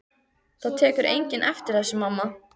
Það tekur enginn eftir þessu, mamma.